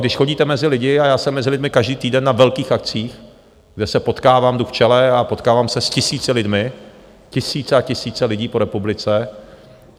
Když chodíte mezi lidi, a já jsem mezi lidmi každý týden na velkých akcích, kde se potkávám, jdu v čele a potkávám se s tisíci lidmi, tisíce a tisíce lidí po republice.